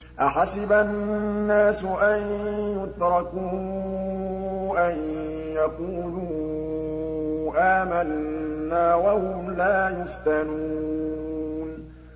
أَحَسِبَ النَّاسُ أَن يُتْرَكُوا أَن يَقُولُوا آمَنَّا وَهُمْ لَا يُفْتَنُونَ